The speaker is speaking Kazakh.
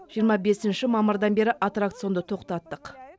жиырма бесінші мамырдан бері аттракционды тоқтаттық